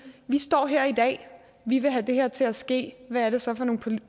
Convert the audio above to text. vi står her i dag vi vil have det her til at ske hvad er det så for nogle